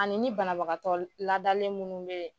Ani ni banabagatɔ l ladalen munnu be ye